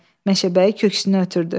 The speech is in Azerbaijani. Meşəbəyi köksünü ötürdü.